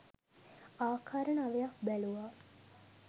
ආකාර නවයක් බැලූවා